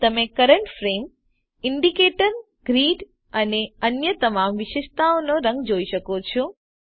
અહીં તમે current frame indicator grid અને અન્ય તમામ વિશેષતાઓના રંગ જોઈ શકો છો